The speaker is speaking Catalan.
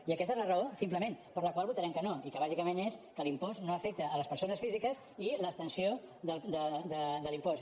i aquesta és la raó simplement per la qual votarem que no i que bàsicament és que l’impost no afecta les persones físiques i l’extensió de l’impost